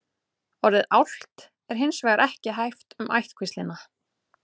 orðið álft er hins vegar ekki haft um ættkvíslina